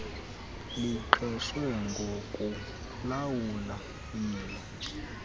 liqeshwe ngokulawula yilo